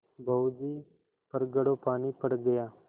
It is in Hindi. बहू जी पर घड़ों पानी पड़ गया